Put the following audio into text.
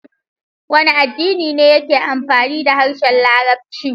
Wane addini ne yake amfani da harshen Larabci?